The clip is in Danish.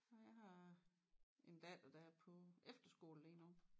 Ej jeg har en datter der er på efterskole lige nu